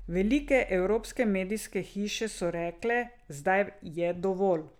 Velike evropske medijske hiše so rekle, zdaj je dovolj.